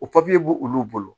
O b'olu bolo